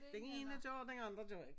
Dene gør den andre gør ikke